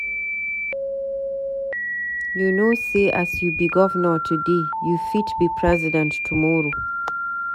You no know sey as you be governor today, you fit be president tomorrow.